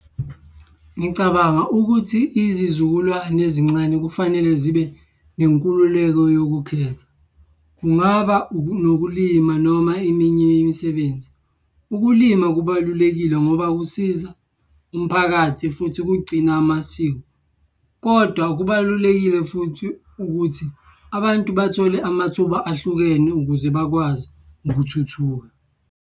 Ngicabanga ukuthi izizukulwane ezincane kufanele zibe nenkululeko yokukhetha. Kungaba nokulima noma eminye yemisebenzi. Ukulima kubalulekile ngoba kusiza umphakathi futhi kugcina amasiko, kodwa kubalulekile futhi ukuthi abantu bathole amathuba ahlukene ukuze bakwazi ukuthuthuka.